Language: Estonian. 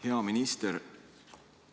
Hea minister!